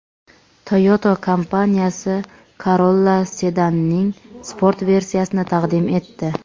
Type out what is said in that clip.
Toyota kompaniyasi Corolla sedanining sport versiyasini taqdim etdi.